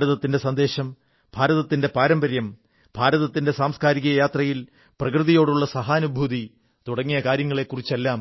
ഭാരതത്തിന്റെ സന്ദേശം ഭാരതത്തിന്റെ പാരമ്പര്യം ഭാരതത്തിന്റെ സാംസ്കാരിക യാത്രയിൽ പ്രകൃതിയോടുള്ളള സഹാനുഭൂതി തുടങ്ങിയ കാര്യങ്ങളെക്കുറിച്ചെല്ലാം